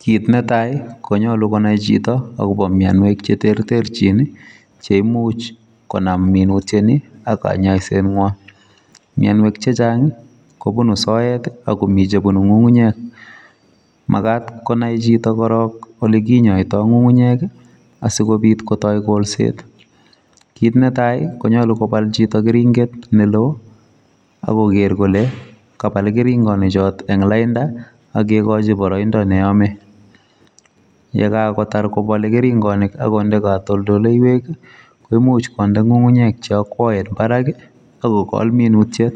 Kiit netai konyolu konai chito akobo mnyanwek cheterterchin cheimuch konam minutiet ni ak kanyaiset ng'wai. mnyanwek chechang' kobunu sooet, akomi chebunu ng'ung'unyek magaat konai chito korok ole kinyaitoi ng'ung'unyek, asikobiit kotai koolseet, kiit netai konyolu kobal chito keringet neloo akoger kole kabal keringinichootok ing' lainda akegoochi boroindo neyame. yekagotar kobale keringonik, akonde katoltondoiwekkomuch konde ng'ung'unyek cheakwaen barak akokool minutiet.